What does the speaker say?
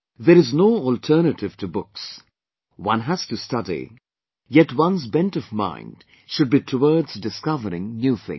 There is no alternative to books, one has to study, yet one's bent of mind should be towards discovering new things